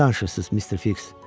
Nə danışırsınız, Mister Fiks?